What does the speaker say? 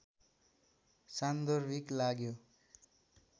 सान्दर्भिक लाग्यो